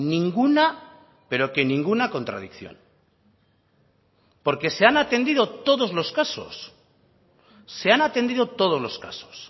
ninguna pero que ninguna contradicción porque se han atendido todos los casos se han atendido todos los casos